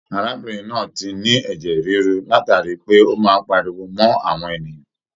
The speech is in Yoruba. Arábìnrin náà ti ní ẹjẹ rírú látara pé o máa n páríwó mọ àwọn èèyàn.